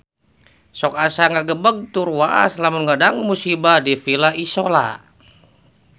Sok asa ngagebeg tur waas lamun ngadangu musibah di Villa Isola